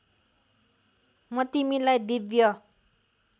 म तिमीलाई दिव्य